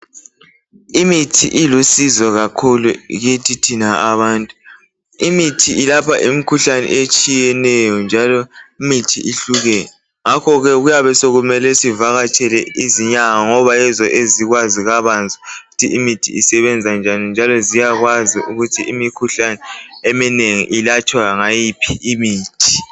Imithi ilusizo kakhulu kithi thina abantu. Imithi ilapha imkhuhlane etshiyeneyo njalo imithi ihlukene ngakho ke kuyabe sokumele sivakatshele izinyanga ngoba yizo ezikwazi kabanzi ukuthi imithi isebenza njani njaloo ziyakwazi ukuthi imikhuhlane eminengi ilatshwa ngayiphi imithi.